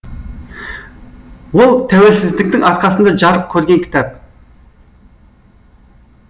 ол тәуелсіздіктің арқасында жарық көрген кітап